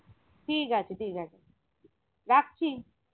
ঠিক আছে ঠিক আছে রাখছি